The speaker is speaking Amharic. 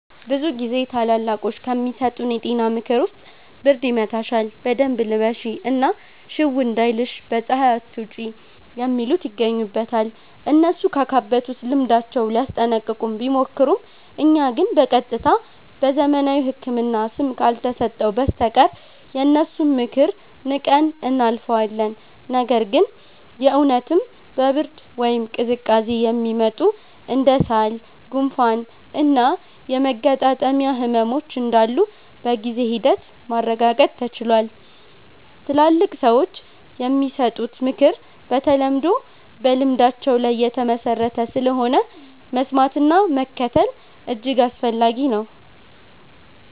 ብዙ ጊዜ ታላላቆች ከሚሰጡን የጤና ምክር ውስጥ ብርድ ይመታሻል በደንብ ልበሺ እና ሽው እንዳይልሽ በ ፀሃይ አትውጪ የሚሉት ይገኙበታል። እነሱ ካካበቱት ልምዳቸው ሊያስጠነቅቁን ቢሞክሩም እኛ ግን በ ቀጥታ በዘመናዊው ህክምና ስም ካልተሰጠው በስተቀር የነሱን ምክር ንቀን እናልፈዋለን። ነገር ግን የ እውነትም በ ብርድ ወይም ቅዝቃዜ የሚመጡ እንደ ሳል፣ ጉንፋን እና የመገጣጠሚያ ህመሞች እንዳሉ በጊዜ ሂደት ማረጋገጥ ተችሏል። ትላልቅ ሰዎች የሚሰጡት ምክር በተለምዶ በልምዳቸው ላይ የተመሠረተ ስለሆነ፣ መስማትና መከተል እጅግ አስፈላጊ ነው።